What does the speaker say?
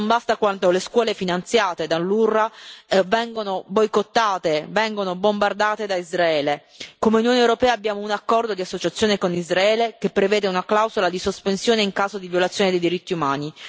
Non basta quando le scuole finanziate dall'UNRWA vengono boicottate, vengono bombardate da Israele. Come Unione europea abbiamo un accordo di associazione con Israele che prevede una clausola di sospensione in caso di violazione dei diritti umani.